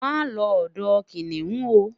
ma lo odò kiniun o